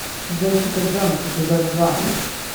джесика джонс эпизод два